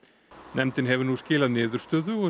nefndin hefur nú skilað niðurstöðu og